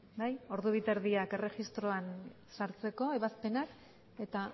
bai hamalauhogeita hamaretan erregistroan sartzeko ebazpenak eta